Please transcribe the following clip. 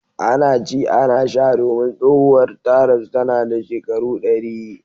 Ana ci ana sha domin tsohuwar ta rasu tana da shekaru ɗari.